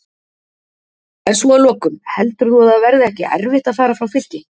En svo að lokum, heldur þú að það verði ekki erfitt að fara frá Fylki?